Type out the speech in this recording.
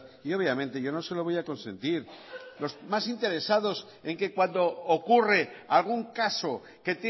y obviamente yo no se lo voy a consentir los más interesados en que cuando ocurre algún caso que